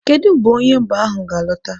Kedu mgbe onye mba ahụ ga-alọta?